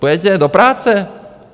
Půjdete do práce?